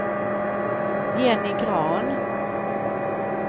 Jenny Grahn